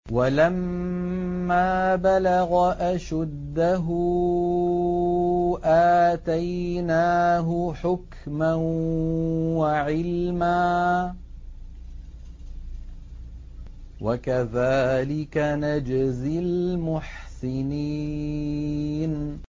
وَلَمَّا بَلَغَ أَشُدَّهُ آتَيْنَاهُ حُكْمًا وَعِلْمًا ۚ وَكَذَٰلِكَ نَجْزِي الْمُحْسِنِينَ